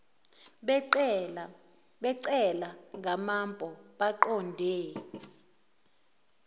becelwa ngamanpo baqonde